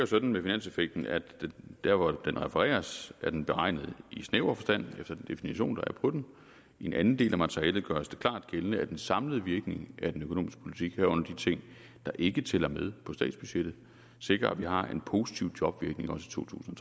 sådan med finanseffekten at der hvor den refereres er den beregnet i snæver forstand efter den definition der er på den i en anden del af materialet gøres det klart gældende at den samlede virkning af den økonomiske politik herunder de ting der ikke tæller med på statsbudgettet sikrer at vi også har en positiv jobvirkning i to tusind